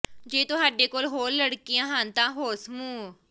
ਜੇ ਤੁਹਾਡੇ ਕੋਲ ਹੋਰ ਲੜਕੀਆਂ ਹਨ ਤਾਂ ਹੋਰ ਸਮੂਹ